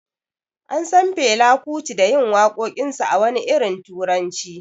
An San Fela Kuti da yin wakokinsa a wani irin turanci.